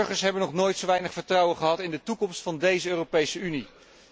De burgers hebben nog nooit zo weinig vertrouwen gehad in de toekomst van deze Europese Unie.